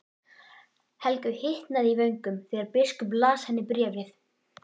Helgu hitnaði í vöngum þegar biskup las henni bréfið.